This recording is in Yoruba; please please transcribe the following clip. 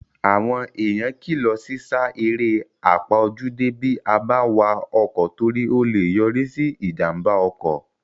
Àwọn èèyàn kílọ̀ sí sá eré àpaójúdé bí a bá n wa ọkọ̀ torí o lè yọrí sí ìjàmbá ọkọ̀